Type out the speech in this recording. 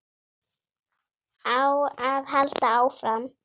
Á að halda áfram?